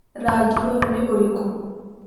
Rangi ũyũ nĩ ũrĩkũ?